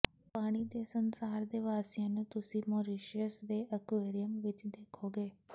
ਪਾਣੀ ਦੇ ਸੰਸਾਰ ਦੇ ਵਾਸੀਆਂ ਨੂੰ ਤੁਸੀਂ ਮੌਰੀਸ਼ੀਅਸ ਦੇ ਐਕਰਿਯੂਅਮ ਵਿਚ ਦੇਖੋਗੇ